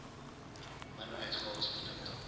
min uitgawes produkte